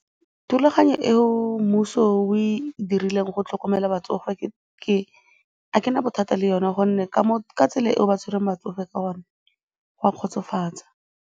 Thulaganyo eo mmuso o e dirileng go tlhokomela batsofe ga ke na bothata le yone gonne ka tsela e ba tshwereng batsofe ka gone, go a kgotsofatsa.